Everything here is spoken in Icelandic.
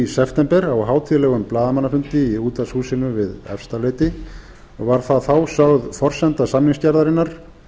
september á hátíðlegum blaðamannafundi í útvarpshúsinu við efstaleiti og var það þá sögð forsenda samningsgerðarinnar